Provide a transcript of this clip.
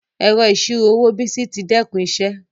Ẹrọ iṣiro owó Bìsí tì dẹkun iṣẹ